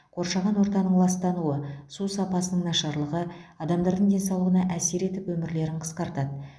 қоршаған ортаның ластануы су сапасының нашарлығы адамдардың денсаулығына әсер етіп өмірлерін қысқартады